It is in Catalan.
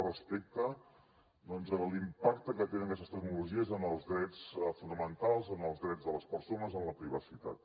al respecte doncs de l’impacte que tenen aquestes tecnologies en els drets fonamentals en els drets de les persones en la privacitat